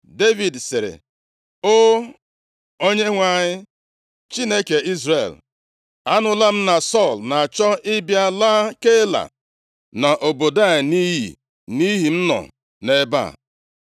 Devid sịrị, “O! Onyenwe anyị, Chineke Izrel, anụla m na Sọl na-achọ ịbịa laa Keila na obodo a nʼiyi nʼihi m nọ nʼebe a.